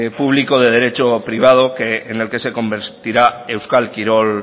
público de derecho privado que en el que se convertirá euskal kirol